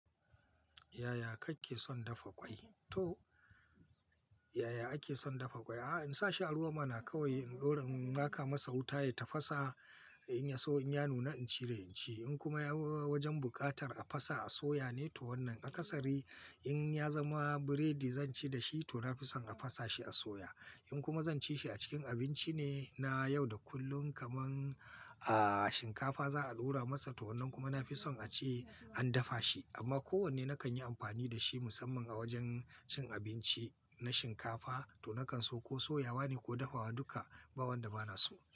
Yaya kake son dafa ƙwai? To yaya ake son dafa ƙwai? A'a in sa shi a ruwa ma na kawai in ɗora, in maka masa wuta ya tafasa, in ya so in ya nuna incire inci. In kuma ya w-w-wajan buƙatar a fasa, a soya ne to wannan aka sari. In ya zama biredi zan ci da shi to na fi son a fasa shi, a soya. In kuma zan ci shi a cikin abinci ne, na yau da kullum kaman a shinkafa za'a ɗora masa to wannan kuma na fi son a ce an dafa shi. Amma ko wanne na kan yi amfani da shi musamman a wajen cin abinci na shinkafa to na kan so ko soyawa ne ko dafawa duka, ba wanda ba na so.